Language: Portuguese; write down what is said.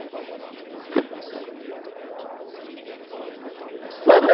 É nessa época?